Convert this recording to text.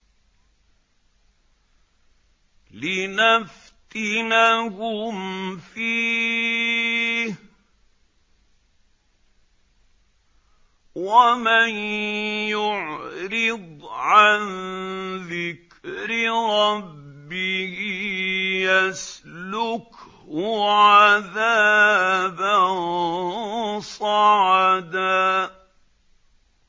لِّنَفْتِنَهُمْ فِيهِ ۚ وَمَن يُعْرِضْ عَن ذِكْرِ رَبِّهِ يَسْلُكْهُ عَذَابًا صَعَدًا